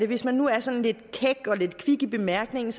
hvis man nu er sådan lidt kæk og lidt kvik i bemærkningen